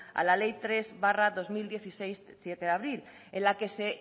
a la ley tres barra dos mil dieciséis de siete de abril en la que se